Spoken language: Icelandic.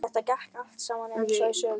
Þetta gekk allt saman eins og í sögu.